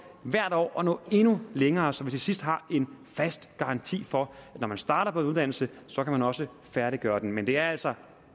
hvert år at nå endnu længere så vi til sidst har en fast garanti for at når man starter på en uddannelse så kan man også færdiggøre den men det er altså